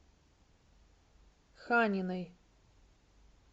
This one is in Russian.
ханиной